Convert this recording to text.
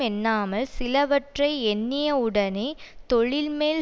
எண்ணாமல் சிலவற்றை எண்ணியவுடனே தொழில்மேல்